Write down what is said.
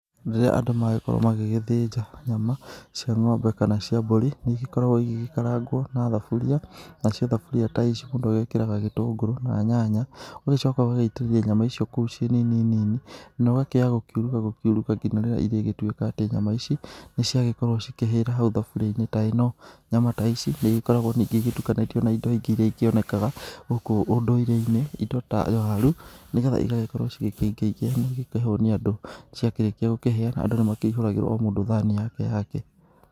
Rĩrĩa andũ magĩkorwo magĩgĩthĩnja nyama cia ng'ombe kana cia mbũri, nĩcikoragwo igĩgĩkarangwo na thaburia, na cio thaburia ta ici mũndũ ekĩraga gĩtũngũrũ na nyanya ũgagĩcoka ũgagĩitĩrĩra nyama icio kũu ciĩ nini nini, na gũkiuruga gũkiuruga nginya rĩrĩa ĩrĩgĩtuĩka atĩ nyama ici nĩ ciagĩkorwo cikĩhĩra hau thaburia-inĩ ta eno. Nyama ta ici, nĩ igĩkoragwo ningĩ igĩtukanĩtio na indo ingĩ iria ingĩonekaga gũkũ ũndũire-inĩ, indo ta waru, nĩ getha igagĩkorwo cikĩingaingĩha na cikahonia andũ, ciakĩrĩkia gũkĩhĩa andũ nĩ makĩihũragĩrwo o mũndũ thani yake yake.